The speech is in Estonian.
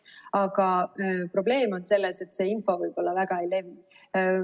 Aga probleem on selles, et see info võib-olla väga ei levi.